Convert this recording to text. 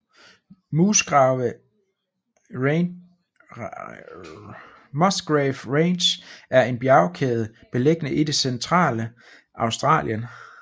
Musgrave Ranges er en bjergkæde beliggende i det centrale Australien